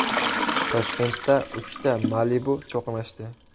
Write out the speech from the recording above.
Toshkentda uchta Malibu to‘qnashdi.